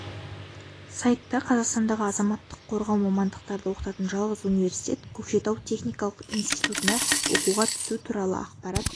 сайта қазақстандағы азаматтық қорғау мамандарды оқытатын жалғыз университет көкшетау техникалық институтына оқуға түсу туралы ақпарат